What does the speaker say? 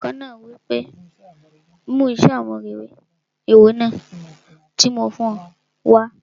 Olùkọ náà wí pé 'mú iṣẹ́ àmúrelé òwe náà tí mo fún ọ wá'